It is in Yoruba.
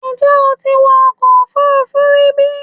Ǹjẹ́ o ti wọ ọkọ̀ òfuurufú rí bí?